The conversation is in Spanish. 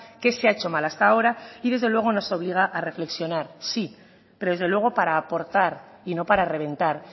qué se ha hecho mal hasta ahora y desde luego nos obliga a reflexionar sí pero desde luego para aportar y no para reventar